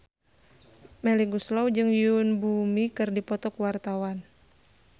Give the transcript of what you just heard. Melly Goeslaw jeung Yoon Bomi keur dipoto ku wartawan